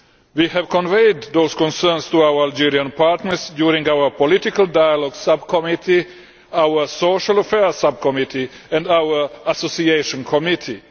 We have conveyed those concerns to our Algerian partners in our Political Dialogue Subcommittee, our Social Affairs Subcommittee and our Association Committee.